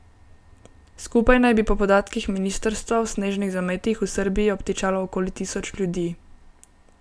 Skupaj naj bi po podatkih ministrstva v snežnih zametih v Srbiji obtičalo okoli tisoč ljudi.